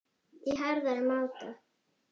í harðari máta.